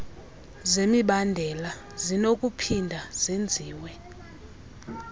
zemibandela zinokuphinda zenziwe